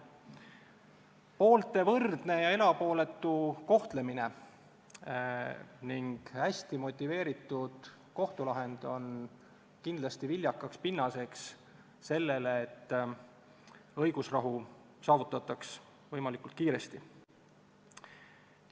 Poolte võrdne ja erapooletu kohtlemine ning hästi motiveeritud kohtulahend on kindlasti viljakaks pinnaseks sellele, et õigusrahu saavutataks võimalikult kiiresti.